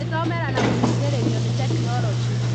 Gũĩthomera na gũteithĩrĩrio nĩ tekinoronjĩ.